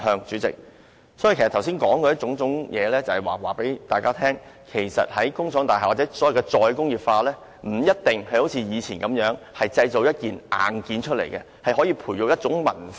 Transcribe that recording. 主席，我剛才說的種種是要告訴大家，其實在工廠大廈內，或在"再工業化"下，不一定要像以前般製造硬件，而是可以培育文化。